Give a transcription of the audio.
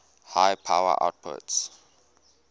high power outputs